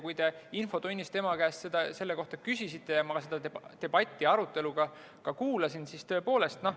Kui te infotunnis tema käest selle kohta küsisite, siis ma kuulasin seda debatti.